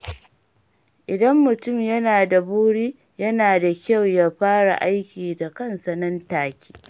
Idan mutum yana da buri, yana da kyau ya fara aiki da kansa nan take.